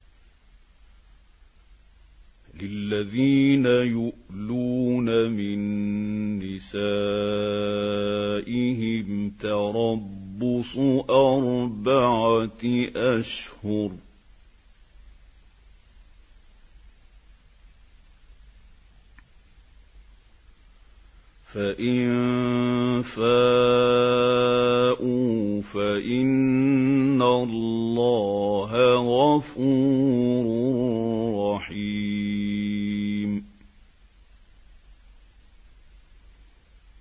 لِّلَّذِينَ يُؤْلُونَ مِن نِّسَائِهِمْ تَرَبُّصُ أَرْبَعَةِ أَشْهُرٍ ۖ فَإِن فَاءُوا فَإِنَّ اللَّهَ غَفُورٌ رَّحِيمٌ